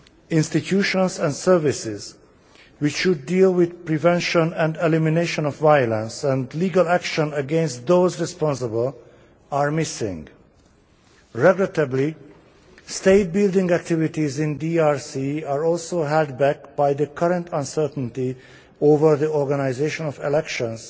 Institutions and services to deal with the prevention and elimination of violence, and legal action against those responsible, are missing. Regrettably, state building activities in DRC are also held back by the current uncertainty over the organisation of elections,